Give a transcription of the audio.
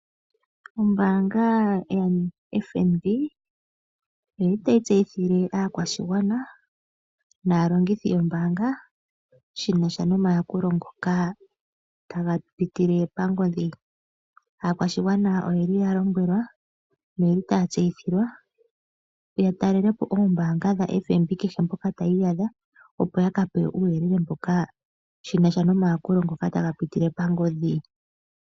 Ombaanga ya FNB oyili tayi tseyithile aakwashigwana naalongithi yombaanga shinasha nomayakulo ngoka taga pitile pangodhi. Aakwashigwana oyeli ya lombwelwa noyeli taya tseyithilwa ya talelepo oombanga dha FNB kehe mpoka taya iyadha opo yaka pewe uuyelele mboka shinasha nomayakulo ngoka taga pitile pangodhi.